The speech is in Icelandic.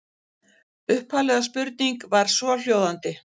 Upphafleg spurning var svohljóðandi: